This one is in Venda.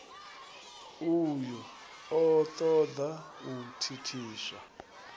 uyu o toda u thithiswa